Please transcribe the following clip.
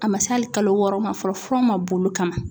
A ma se hali kalo wɔɔrɔ ma fɔlɔ fura ma bolo kama.